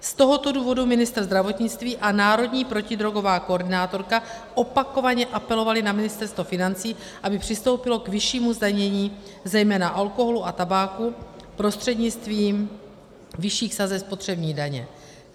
Z tohoto důvodu ministr zdravotnictví a národní protidrogová koordinátorka opakovaně apelovali na Ministerstvo financí, aby přistoupilo k vyššímu zdanění zejména alkoholu a tabáku prostřednictvím vyšších sazeb spotřební daně.